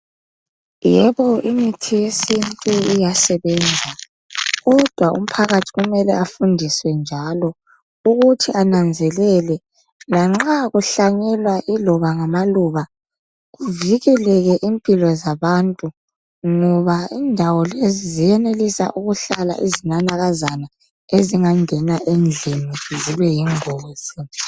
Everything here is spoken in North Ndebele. Yebo imithi yesintu ingasebenza, ķodwa umphakathi kumele afundiswe njalo ukuthi ananzelele lanxa kuhlanyelwa iloba ngamaluba, kuvikeleke impilo zabantu ngoba indawo lezi ziyenelisa ukuhlala izinanakazana ezingangena endlini zibe yingozi